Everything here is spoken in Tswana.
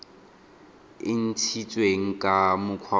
e ntshitsweng ka mokgwa o